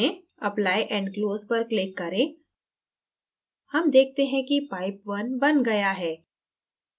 apply and close पर click करें हम देखते हैं कि pipe _ 1 बन गया है